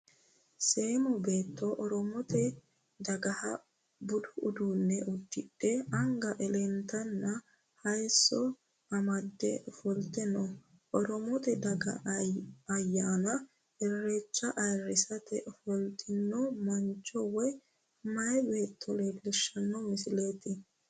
Seemmo beetto Oromote dagaha budu uduunne uddidhe anga elentonna hayisso amadde ofolte no.oromote daga ayyaana irrecha ayirrisate ofoltino mancho woyi mayaa beetto leellishshanno misileeti.